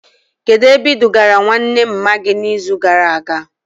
Kedụ ebe e dugara nwanne mma gị na izu gara aga?